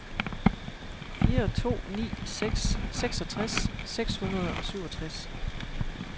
fire to ni seks seksogtres seks hundrede og syvogtres